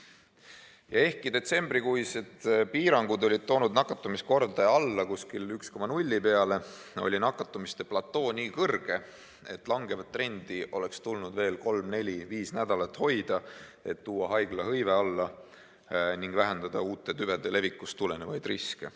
Ja ehkki detsembrikuised piirangud olid toonud nakatumiskordaja alla 1,0 peale, oli nakatumiste platoo nii kõrge, et langevat trendi oleks tulnud veel kolm-neli-viis nädalat hoida, et vähendada haiglate hõivet ning uute tüvede levikust tulenevaid riske.